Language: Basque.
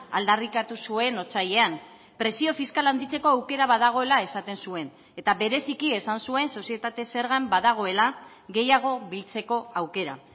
aldarrikatu zuen otsailean presio fiskala handitzeko aukera badagoela esaten zuen eta bereziki esan zuen sozietate zergan badagoela gehiago biltzeko aukera